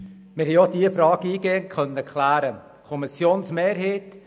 der SiK. Wir haben auch diese Frage eingehend klären können.